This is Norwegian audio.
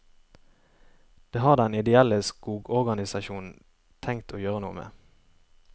Det har den ideelle skogorganisasjon tenkt å gjøre noe med.